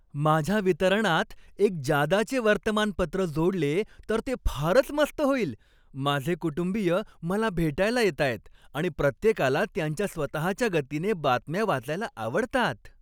माझ्या वितरणात एक जादाचे वर्तमानपत्र जोडले तर ते फारच मस्त होईल! माझे कुटुंबीय मला भेटायला येतायत आणि प्रत्येकाला त्यांच्या स्वतःच्या गतीने बातम्या वाचायला आवडतात.